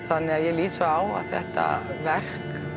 þannig að ég lít svo á að þetta verk